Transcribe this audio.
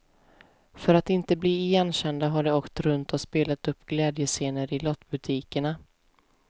För att inte bli igenkända har de åkt runt och spelat upp glädjescener i lottbutikerna.